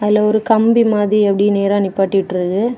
இதுல ஒரு கம்பி மாதிரி அப்படியே நேர நிப்பாட்டிவிட்ருக்கு.